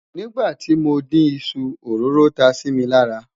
nígbà tí mọ dín iṣu, òróró tá Si mí lára